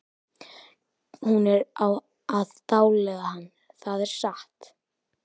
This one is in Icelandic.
Hún er að dáleiða hann, það er satt!